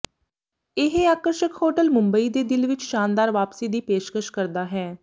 ਇਹ ਆਕਰਸ਼ਕ ਹੋਟਲ ਮੁਂਬਈ ਦੇ ਦਿਲ ਵਿੱਚ ਸ਼ਾਨਦਾਰ ਵਾਪਸੀ ਦੀ ਪੇਸ਼ਕਸ਼ ਕਰਦਾ ਹੈ